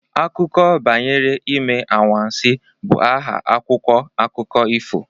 Akụkọ banyere Ime Anwansi' bụ aha akwụkwọ akụkọ efu